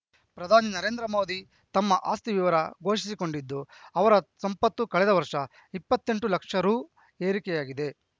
ಪ್ರಧಾನಿ ನರೇಂದ್ರ ಮೋದಿ ತಮ್ಮ ಆಸ್ತಿ ವಿವರ ಘೋಷಿಸಿಕೊಂಡಿದ್ದು ಅವರ ಸಂಪತ್ತು ಕಳೆದ ವರ್ಷ ಇಪ್ಪತ್ತೆಂಟು ಲಕ್ಷ ರು ಏರಿಕೆಯಾಗಿದೆ